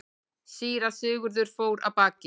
Síra Sigurður fór af baki.